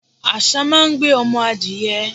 Àsá máa ń gbé ọmọ adìẹ.